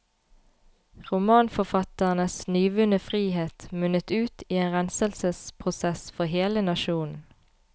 Romanforfatternes nyvunne frihet munnet ut i en renselsesprosess for hele nasjonen.